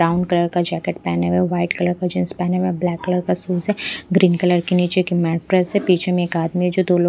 brown colour का jacket पहने हुए है वाइट कलर का जींस पहने हुए है ब्लैक कलर का शूज है ग्रीन कलर की नीचे की मैड्रेस है पीछे में एक आदमी है जो दो लोग --